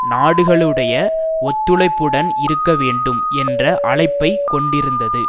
நாடுகளுடைய ஒத்துழைப்புடன் இருக்க வேண்டும் என்ற அழைப்பைக் கொண்டிருந்தது